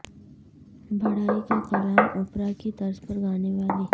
بھٹائی کا کلام اوپرا کی طرز پر گانے والی